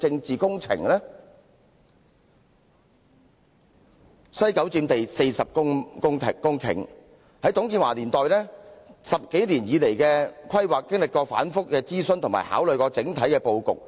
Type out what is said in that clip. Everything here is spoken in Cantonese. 西九文化區佔地49公頃，自董建華年代以來，經過10多年規劃，曾進行多次諮詢及整體布局考慮。